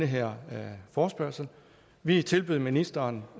her forespørgsel vi tilbød ministeren